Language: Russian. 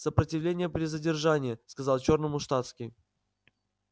сопротивление при задержании сказал чёрному штатский